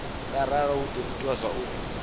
ngauralo hu do ita zwauri